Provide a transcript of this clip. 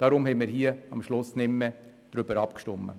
Deshalb haben wir letztlich nicht darüber abgestimmt.